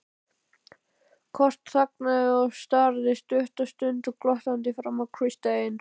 Kort þagnaði og starði stutta stund glottandi framan í Christian.